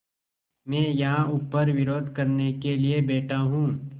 मैं यहाँ ऊपर विरोध करने के लिए बैठा हूँ